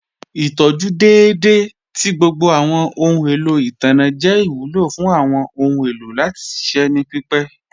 Ìtọjú dẹ́edẹ̀ tì gbogbo awọn ọhun èlò itanna jẹ́ ìwúlọ̀ fún awọn ọhun èlò láti ṣiṣẹ̀ ní pípẹ̀.